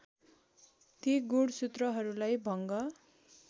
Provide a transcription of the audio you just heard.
ती गुणसूत्रहरूलाई भङ्ग